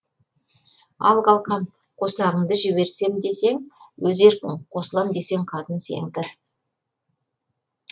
ал қалқам қосағыңды жіберсем десең өз еркің қосылам десең қатын сенікі